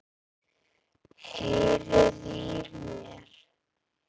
Heyriði í mér?